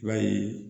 I b'a ye